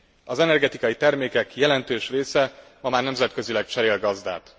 Az energetikai termékek jelentős része ma már nemzetközileg cserél gazdát.